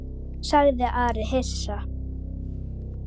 sagði Ari hissa.